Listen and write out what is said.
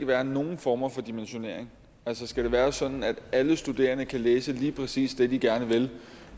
være nogen former for dimensionering skal det være sådan at alle studerende kan læse lige præcis det de gerne vil